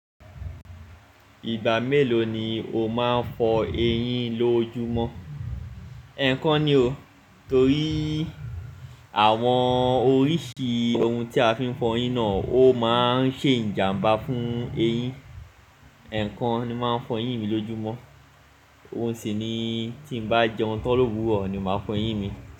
Ìgbà mélòó ni o máa ń fọ eyín lójúmọ́? Ẹ̀ẹ̀kan ni o, torí àwọn oríṣi ohun tí a fi ń fọ eyín náà ó máa ń ṣe ìjàmbá fún eyín. Ẹ̀ẹ̀kan ni máa ń fọ eyín mi lójúmọ́. Ohun sì ni tí bá jẹun tán lóru ọ̀ọ́ ni mo máa fọ eyín mi.